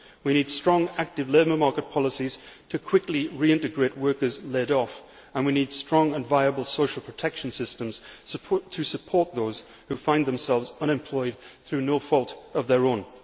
We need strong, active labour market policies to quickly reintegrate workers laid off and we need strong and viable social protection systems to support those who find themselves unemployed through no fault of their own.